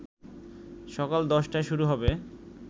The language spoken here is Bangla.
সকাল ১০টায় শুরু হবে